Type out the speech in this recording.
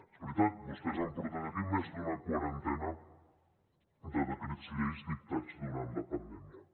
és veritat vostès han portat aquí més d’una quarantena de decrets llei dictats durant la pandèmia